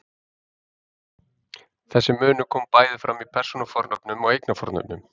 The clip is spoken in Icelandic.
Þessi munur kom bæði fram í persónufornöfnum og eignarfornöfnum.